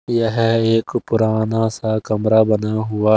यह एक पुराना सा कमरा बना हुआ--